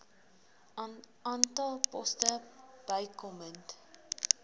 aantal poste bykomend